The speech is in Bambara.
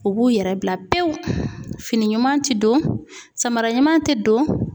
U b'u yɛrɛ bila pewu ,fini ɲuman tɛ don, samara ɲuman tɛ don.